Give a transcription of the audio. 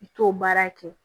I t'o baara kɛ